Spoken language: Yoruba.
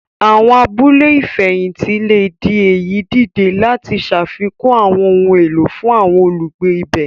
Àwọn abúlé ìfẹ̀hìntì le di èyí dìde lati ṣafikun àwọn ohun èlò otun fún àwọn olugbe ibè.